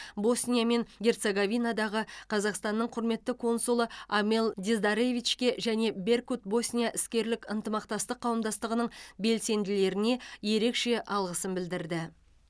босния мен герцеговинадағы қазақстанның құрметті консулы амел диздаревичке және беркут босния іскерлік ынтымақтастық қауымдастығының белсенділеріне ерекше алғысын білдірді